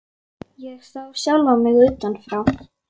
Ég sá sjálfa mig utan frá.